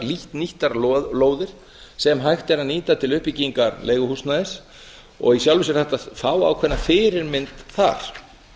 lítt nýttar lóðir sem hægt er að nýta til uppbyggingar leiguhúsnæðis og í sjálfu sér hægt að fá ákveðna fyrirmynd þar